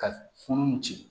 Ka funu ci